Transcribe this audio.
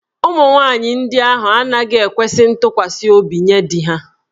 Ụmụ nwaanyị ndị ahụ anaghị ekwesi ntụkwasị obi nye di ha.